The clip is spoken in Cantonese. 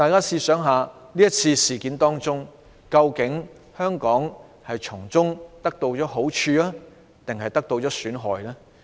在這次事件中，究竟香港是從中得到好處，還是受到損害呢？